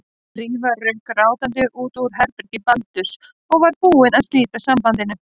Drífa rauk grátandi út úr herbergi Baldurs og var búin að slíta sambandinu.